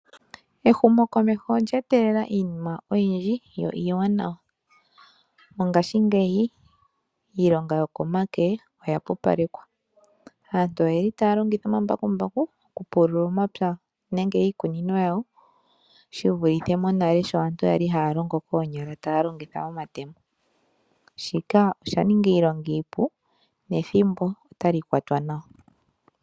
Ehumokomeho olya etelela iinima oyindji yo iiwanawa. Mongashingeyi iilonga yokomake oya pupalekwa. Aantu oye li taya longitha omambakumbaku okupulula omapya nenge iikunino yawo. Shi vulithe monale sho aantu yali haya longo koonyala taya longitha omatemo. Shika osha ninga iilonga iipu nethimbo otali kwatwa nawa.